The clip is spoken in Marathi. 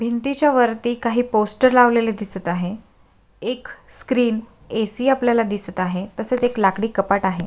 भिंतीच्यावरती काही पोस्टर लावलेले दिसत आहे एक स्क्रीन ऐ.सी. आपल्याला दिसत आहे तसेच एक लाकडी कपाट आहे.